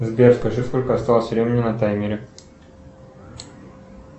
сбер скажи сколько осталось времени на таймере